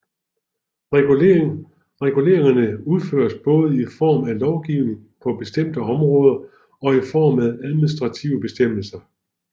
Reguleringerne udføres både i form af lovgivning på bestemte områder og i form af administrative bestemmelser